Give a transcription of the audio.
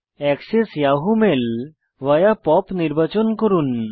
access Yahoo mail via POP নির্বাচন করুন